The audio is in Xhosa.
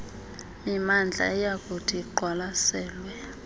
mimandla eyakuthi iqwalaselwe